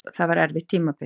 Það var erfitt tímabil.